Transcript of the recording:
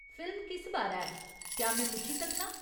Film किस बारै ऐ, क्या में पुच्छी सकनां?